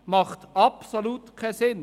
Das ergibt absolut keinen Sinn.